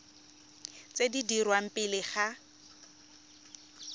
tse di dirwang pele ga